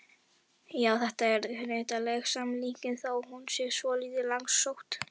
Já, þetta er hnyttileg samlíking þó hún sé svolítið langsótt.